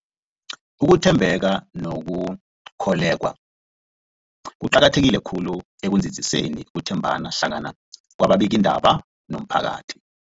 Ukuthembeka nokukholweka kuqakatheke khulu ekunzinziseni ukuthembana hlangana kwababikiindaba nomphakathi.